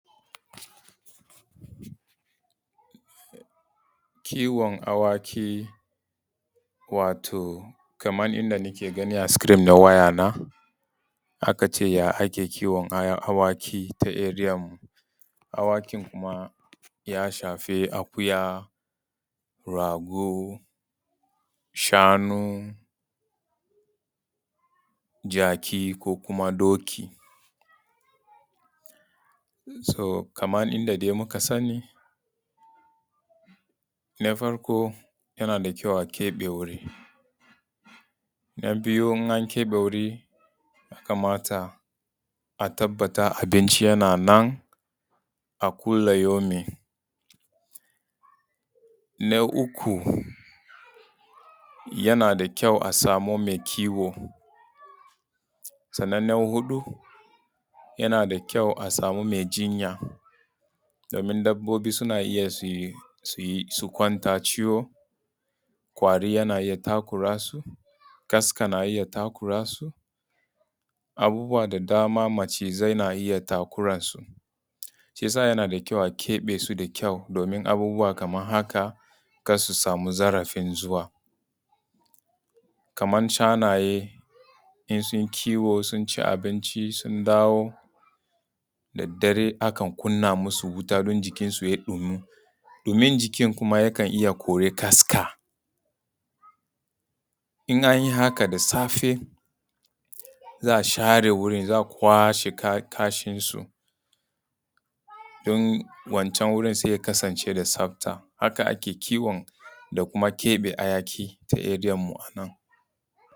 Kiwon awaki. Wato kamar yanda na ke ganinan a screen na waya na. aka ce ya ake kiwon awaki ta area mu? Awakin kuma ya shafi akuya, rago, shanu, jaki ko kuma doki. So kamar inda dai muka sani na farko yana da kyau a keɓe wuri. Na biyu in an keɓe wuri ya kamata a tabbata abinci yana nan a kulli yaumin. Na uku yana da kyau a samu mai kiwo. Na huɗu yana da kyau a samu mai jinya domin dabobi suna iya su kwanta ciwo, ƙwari yana iya takura su, kaska na iya takura su, abubuwa da dama, macizai na iya takura su. Shi yasa yana da kyau a keɓes u da kyau domin abubuwa kamar haka kar su samu zarafin zuwa. Kamar shanaye in sun kiwo sun ci abinci su dawo da dare akan kunna masu wuta don jikin su yayi ɗumi. ɗimin jikin kuma yakan iya kori kaska in an yi haka da safe za a share wajan, za a kwashe kashin su don wancan wurin sai ya kasance da tsafta. Haka ake kiwon da kuma keɓe hayaƙi ta area mu a nan.